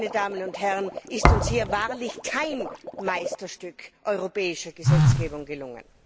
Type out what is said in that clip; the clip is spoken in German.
Sonst, meine Damen und Herren, ist uns hier wahrlich kein Meisterstück europäischer Gesetzgebung gelungen!